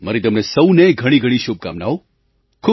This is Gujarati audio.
મારી તમને સહુને ઘણીઘણી શુભકામનાઓ